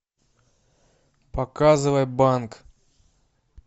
показывай банк